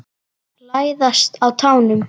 Læðast á tánum.